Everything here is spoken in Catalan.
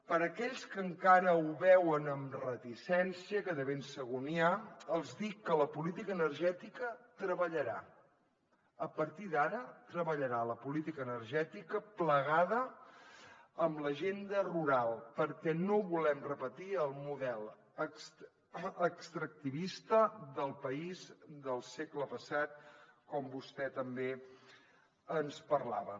per a aquells que encara ho veuen amb reticència que de ben segur n’hi ha els dic que la política energètica treballarà a partir d’ara plegada amb l’agenda rural perquè no volem repetir el model extractivista del país del segle passat com vostè també ens parlava